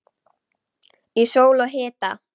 Í sól og hita.